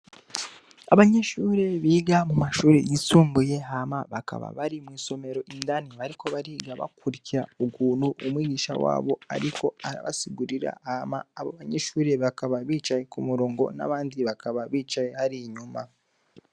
Abanyishuri biga mu mashuri yisumbuye hama bakaba bari mw'isomero indani bariko bariga bakurikira ukuntu umwigisha wabo, ariko arabasigurira hama abo banyishuri bakaba bicaye ku murongo n'abandi bakaba bicaye hariya inyuma.